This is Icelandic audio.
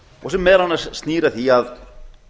og sem meðal annars snýr að því að